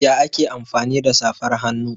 Ya ake amfani da safar hannu?